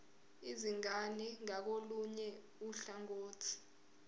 izingane ngakolunye uhlangothi